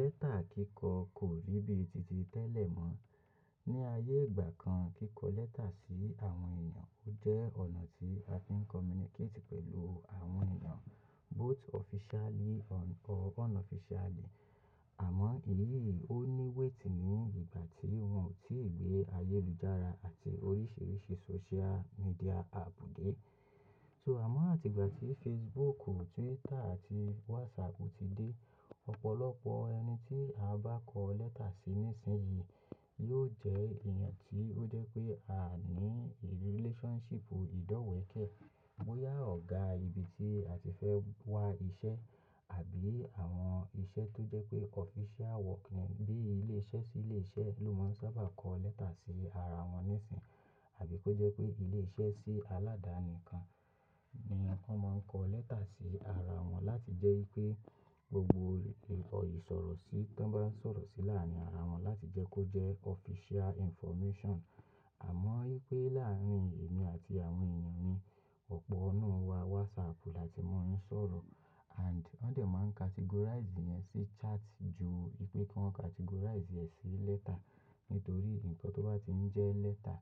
Lẹ́tà kíkọ kò rí bíi títí tẹ́lẹ̀ mọ́. Ni ayé ìgbà kan, kíkọ lẹ́tà sí àwọn èèyàn jẹ́ ọ̀nà tí a fi ń communicate pẹ̀lú àwọn èèyàn both officially or unofficially. Àmọ́ èyí ó ní wétì ní ìgbà tí wọ́n ò tí ì gbé ayélujára àti oríṣiríṣi social media àpp dé. So àmọ́ àti ìgbà tí Facebook, Twitter àti WhatsApp ti dé, ọ̀pọ̀lọpọ̀ ẹni tí a bá kọ lẹ́tà sí nísìnyí yóò jẹ́ èèyàn tí ó jẹ́ pé a ní relationship ìdọ́wẹ̀ kẹ́, bóyá ọ̀gá ibi tí a ti fẹ́ wá iṣẹ́ àbí àwọn iṣẹ́ tó jẹ́ pé official work ni, bí i ilé iṣẹ́ sí ilé iṣẹ́ ló máa ń sábà kọ lẹ́tà sí ara wọn níìsín, àbí kó jẹ́ pé ilé iṣẹ́ sí aládàáni kan ni wọ́n máa ń kọ lẹ́tà sí ara wọn láti jẹ́ pé gbogbo ẹ̀rọ ìsọ̀rọ̀sí tó bá ń sọ̀rọ̀ sí láàárín ara wọn láti jẹ́ kó jẹ́ official information. Àmọ́ pé láàárín èmi àti àwọn èèyàn mi, ọ̀pọ̀ nínú wa WhatsApp láti mú wọn ń sọ̀rọ̀ and wọn dẹ̀ máa ń categorize ẹ̀ sí chat jù pé kí wọ́n categorize ẹ̀ sí lẹ́tà. Nítorí nǹkan tó bá ti ń jẹ́ lẹ́tà,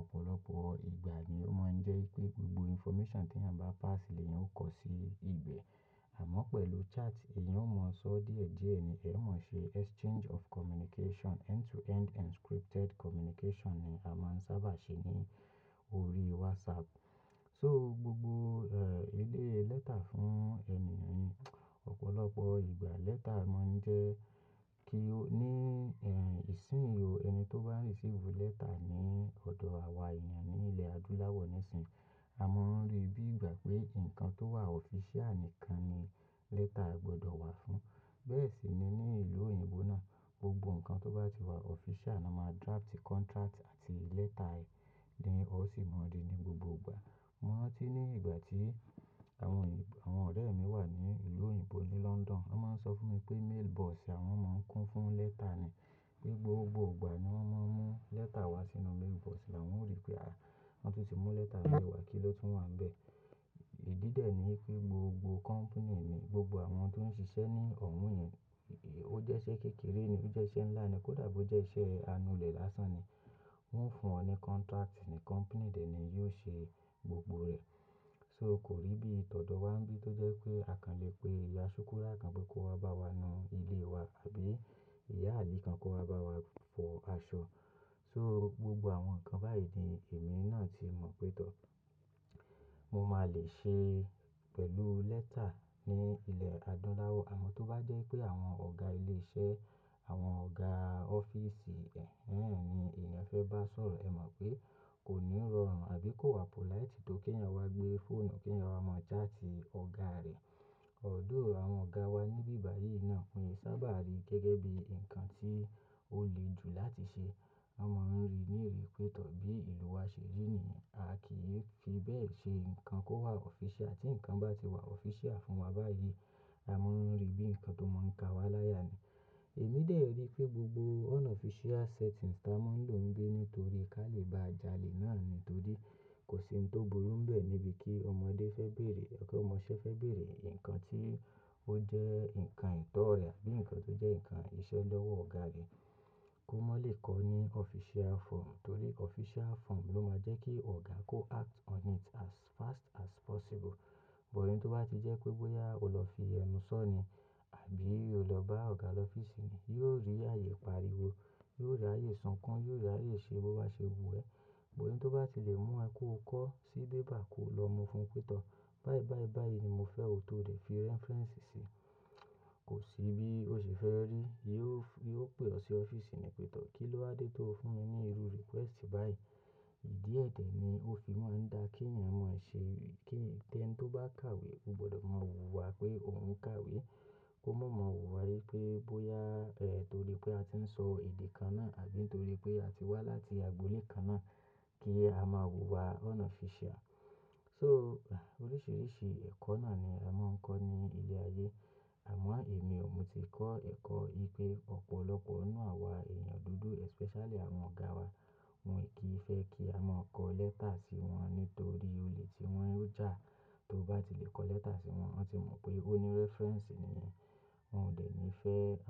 ọ̀pọ̀lọpọ̀ ìgbà ni ó máa ń jẹ́ pé gbogbo information tí ẹyan bá pass lènyẹn ó kọ sí ibẹ̀. Àmọ́ pẹ̀lú chat, èèyàn ó mọ sọ díẹ̀ díẹ̀ ni ẹ mọ̀ ṣe exchange of communication, end-to-end encrypted communication ni a máa ń sábà ṣe ní orí WhatsApp. So gbogbo, eh, ilé lẹ́tà fún èèyàn mi, ọ̀pọ̀lọpọ̀ ìgbà lẹ́tà máa ń jẹ́ kí ó ní, ẹ́, ìsìn ò. Ẹni tó bá receive lẹ́tà ní ọ̀dọ̀ àwa èèyàn ní ilẹ̀ adúláwọ̀ níìsín, a mọ̀ orí ibí ìgbà pé nǹkan tó wà official nìkan ni lẹ́tà gbọdọ̀ wá fún. Bẹ́ẹ̀ sì ni ní ìlú òyìnbó náà, gbogbo nǹkan tó bá ti wà official ni wọ́n máa draft contract àti lẹ́tà ẹ tí ó sì máa rí ní gbogbo ìgbà. Mo rántí ní ìgbà tí àwọn ọ̀rẹ́ mi wà ní ìlú òyìnbó ní London, wọ́n máa ń sọ fún mi pé mailbox àwọn mọ ń kún fún lẹ́tà ni. Pé gbogbo ìgbà ni wọ́n máa ń mú lẹ́tà wá sínú mailbox áwọn ò rí pé, "à, wọ́n tún ti mú lẹ́tà mi wá, kí ló tún wà níbẹ̀?" Ìdí dè ni pé gbogbo company ni gbogbo àwọn tó ń ṣiṣẹ́ ní ọ̀hun yẹn, ó jẹ́ iṣẹ́ kékeré ni, ó jẹ́ iṣẹ́ ńlá ni, kódà bó jẹ́ iṣẹ́ anulẹ̀ lásán ni, wọ́n ò fún ọ ní contract ni company dẹ̀ ni yóò ṣe gbogbo rẹ̀. So kò rí bí i tọ̀dọ̀ wá ńibi tó jẹ́ pé àkànlé pé ìyá Súkúrà kan pé kó wá bá wa nu ilé wa, àbí ìyá Ali kan kó wá bá wa fọ aṣọ. So gbogbo àwọn nǹkan báyìí ni èmi náà ti mọ̀ pé tọ́. Mo máa lè ṣe pẹ̀lú lẹ́tà ní ilẹ̀ adúláwọ̀. Àmọ́ tó bá jẹ́ pé àwọn ọ̀gá ilé iṣẹ́, àwọn ọ̀gá ọ́fíìsì, ni èèyàn fẹ́ bá sọ̀rọ̀, ẹ mọ̀ pé kò ní rọrùn àbí kò wà polite tó kí ẹ̀yàn wá gbé fóònù, kí ẹ̀yàn wá mọ chat ọ̀gá rẹ̀. Although, àwọn ọ̀gá wa níbí bá yìí náà wọn kìí sábà rí gẹ́gẹ́ bíi nǹkan tí ó le jù láti ṣe. Wọ́n mọ̀ rí níìrì pé tọ́ bí ìlú wa ṣe rí ni, a kì í fi bẹ́ẹ̀ ṣe nǹkan kó wà official. Tí nǹkan bá ti wà official fún wa báyìí, a mọ̀ rí bíi nǹkan tó máa ń ka wa láya ni. Èmi dè tí rí pé gbogbo unofficial setting tá mo ń lò níbi, nítorí kí a lè bá jalè náà nítorí kò sí ohun tó burú ń bẹ̀ níbi kí ọmọdé fẹ́ bèrè, kí ọmọ iṣẹ́ fẹ́ bèrè nǹkan tí ó jẹ́ nǹkan ìtọ́na bií nǹkan tó jẹ́ nǹkan iṣẹ́ lọ́wọ́ ọ̀gá ni, kó má lè kọ ní official form. Nítorí official form ló máa jẹ́ kí ọ̀gá kó act on it as fast as possible. Àmọ́ tó bá ti jẹ́ pé bóyá o lọ fi ẹnu sọ ni àbí o lọ bá ọ̀gá lọ́fíìsì ni, yóò rí ààyè pariwo, yóò rí ààyè sọ̀kàn, yóò rí ààyè ṣe bó bá ṣe wù ẹ́. Ohun tó bá ti lè mú ẹ kó kọ́ sí bébà kó lọ mú fún pé tọ́. "Báyìí, báyìí, báyìí ni mo fẹ́ o, tó dẹ̀ fi reference sí." Kò sí bí ó ṣe fẹ́ rí i, yóò pè ọ́ sí ọ́fíìsì ni pé tọ̀. "Kí ló á dé tó fún mi ní irú request báyìí?" Ìdí ẹ̀ dẹ̀ ni ó fi máa ń da kí ẹ̀yàn mọ̀ ṣe kí ẹni tó bá kàwé ó gbọdọ̀ mọ wùwà pé òun ń kàwé. Kó má mọ wùwà wípé bóyá, eh, nítorí pé a ti ń sọ èdè kan náà àbí nítorí pé a ti wá láti agboolé kan náà kí a máa wù wà unofficial. So oríṣiríṣi ẹ̀kọ́ náà ni a máa ń kọ́ ní ilẹ̀ ayé. Àmọ́ èmi ò ti kọ́ ẹ̀kọ́ wípé, ọ̀pọ̀lọpọ̀ nínú àwa èèyàn dúdú especially àwọn ọ̀gá wa, wọ́n kì í fẹ́ kí a máa kọ lẹ́tà sí wọn nítorí olè tí wọ́n yóò jà tó bá ti lè kọ lẹ́tà sí wọn. Wọ́n ti mọ̀ pé ó ní reference nìyẹn, wọ́n ò dẹ̀ ní fẹ́ à.